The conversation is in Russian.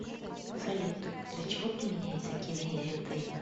салют для чего применяется кинезио тейп